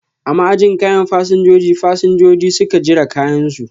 A ma'ajin kayan fasinjojin, fasinjojin suka jira kayan su.